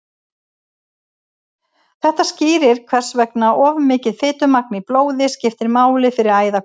þetta skýrir hvers vegna of mikið fitumagn í blóði skiptir máli fyrir æðakölkun